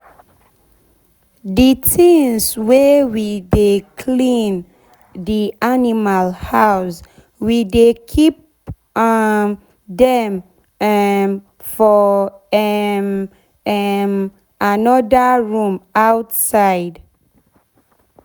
d tins wey we take dey clean d animal house we dey keep um dem um for um um anoda room outside.